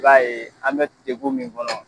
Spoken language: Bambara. I b'a ye an bɛ degun min kɔnɔ